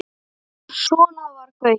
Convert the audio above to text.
Svona var Gaui.